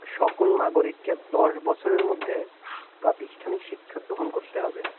সকল নাগরিককে দশ বছরের মধ্যে অনেক প্রাস্তিনীকে শিক্ষা গ্রহণ করতে হবে